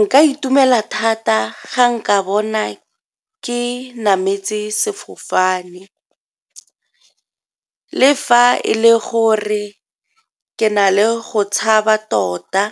Nka itumela thata ga nka bona ke nametse sefofane le fa e le gore ke na le go tshaba tota.